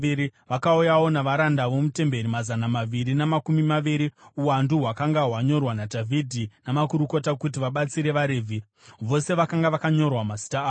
Vakauyawo navaranda vomutemberi mazana maviri namakumi maviri, uwandu hwakanga hwanyorwa naDhavhidhi namakurukota kuti vabatsire vaRevhi. Vose vakanga vakanyorwa mazita avo.